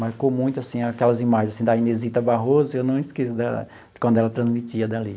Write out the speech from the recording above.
Marcou muito assim aquelas imagens assim da Inezita Barroso, eu não esqueço da de quando ela transmitia dali.